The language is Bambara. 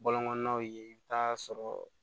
Bɔlɔn kɔnɔnaw ye i bi taa sɔrɔ